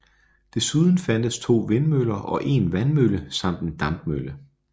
Desuden fandtes 2 vindmøller og 1 vandmølle samt en dampmølle